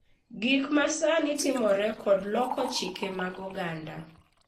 Gik ma sani timore kod loko chike mag oganda